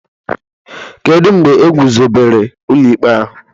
Kedu mgbe egwuzobere ụlọ ikpe ahụ?